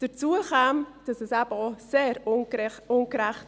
Hinzu käme, dass es eben auch sehr ungerecht wäre.